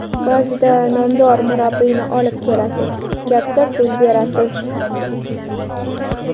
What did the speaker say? Ba’zida nomdor murabbiyni olib kelasiz, katta pul berasiz.